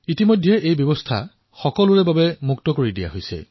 অলপতে এয়া সকলোৰে বাবে মুকলি কৰি দিয়া হৈছে